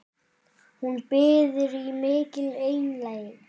Hún biður í mikilli einlægni